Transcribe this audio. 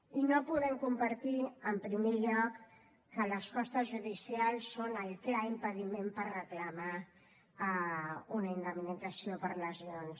i no podem compartir en primer lloc que les costes judicials són el clar impediment per reclamar una indemnització per lesions